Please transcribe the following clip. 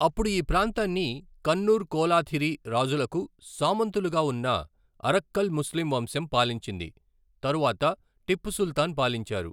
అప్పుడు ఈ ప్రాంతాన్ని కన్నూర్ కోలాథిరి రాజులకు సామంతులుగా ఉన్న అరక్కల్ ముస్లిం వంశం పాలించింది, తరువాత టిప్పు సుల్తాన్ పాలించారు.